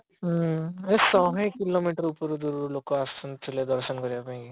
ହୁଁ ଶହେ କିଲୋମିଟର ଉପରୁ ଦୂରରୁ ଲୋକ ଆସୁଥିଲେ ଦର୍ଶନ କରିବା ପାଇଁକି